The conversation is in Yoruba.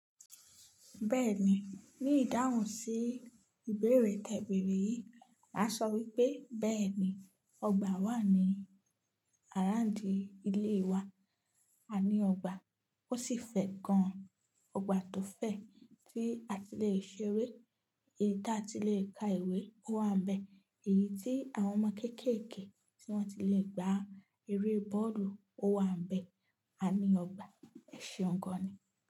Bẹ́ẹ̀ni, ní ìdáhùn sí ìbéèrè tẹbeẹ́rẹ́ yìí, màá sọ wípé bẹ́ẹ̀ni ọgbà wà ní àrándí ilé wa. A ní ọgbà, ó sì fẹ̀ gan. Ọgbà tó fẹ̀ tí a ti le ṣeré, èyí tí a ti le ka ìwé, ó wà níbẹ̀. Èyí tí àwọn ọmọ kéékèèké tí wọ́n ti le gba eré bọ́ọ̀dù, ó wà níbẹ̀. A ní ọgbà, ẹ ṣeun gan ni.